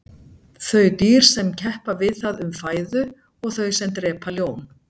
þau dýr sem keppa við það um fæðu og þau sem drepa ljón